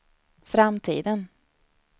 framtiden